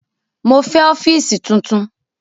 Mo fẹ ọfiisi tuntun!